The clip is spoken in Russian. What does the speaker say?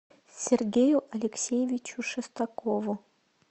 сергею алексеевичу шестакову